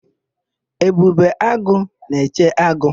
Ebube agụ na-eche agụ.